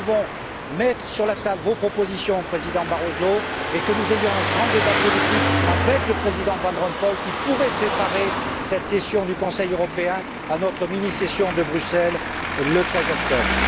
Nous devons mettre sur la table vos propositions, Monsieur le Président Barroso, il faut que nous ayons un grand débat politique avec le Président van Rompuy, qui pourrait préparer cette session du Conseil européen, à notre mini session de Bruxelles le 13 octobre.